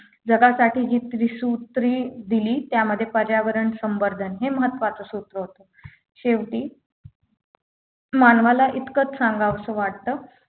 जगासाठी जी त्रिसूत्री दिली त्यामध्ये पर्यावरण संवर्धन हे महत्त्वाचे सूत्र होतं शेवटी मानवाला इतकच सांगावसं वाटतं